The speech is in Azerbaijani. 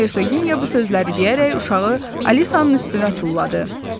Hersogenya bu sözləri deyərək uşağı Alisanın üstünə tulladı.